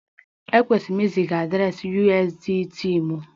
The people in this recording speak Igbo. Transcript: Ekwesịrị m iziga adreesị USDT m?